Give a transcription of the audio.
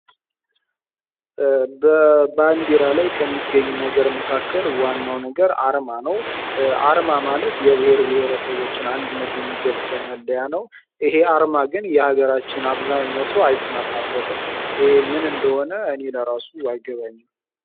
በባንዲራ ላይ ከሚገኝ ነገር መካከል ዋናው ነገር አርማ ነው። ዓርማ ማለት የብሔር ብሔረሰቦችን አንድነት የሚገልጽ መለያ ነው። ይሄ ዓርማ ግን የሀገራችን አብዛኛው ሰው አይስማማበትም፤ ይህ ምን እንደሆነ እኔና ራሱ አይገባኝም።